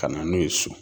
Ka na n'u ye so